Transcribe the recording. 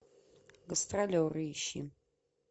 гастролеры ищи